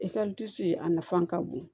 a nafa ka bon